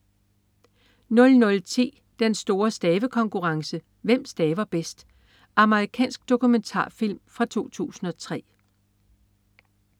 00.10 Den store stavekonkurrence. Hvem staver bedst? Amerikansk dokumentarfilm fra 2003